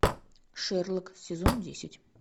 шерлок сезон десять